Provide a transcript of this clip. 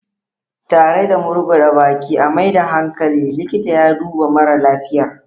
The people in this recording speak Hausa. Tare da murguda baki a maida hankali, likita ya duba mara lafiyar.